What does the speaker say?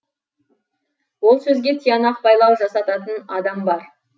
ол сөзге тиянақ байлау жасататын адам бар